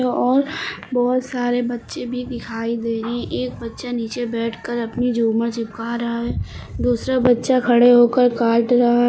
दो और बहोत सारे बच्चे भी दिखाई दे रहे हैं एक बच्चा नीचे बैठकर अपनी झूमर चिपका रहा है दूसरा बच्चा खड़े होकर काट रहा--